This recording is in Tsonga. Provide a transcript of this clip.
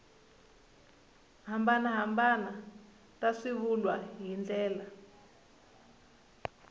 hambanahambana ta swivulwa hi ndlela